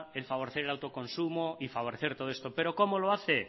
el favorecer el autoconsumo y favorecer todo esto pero cómo lo hace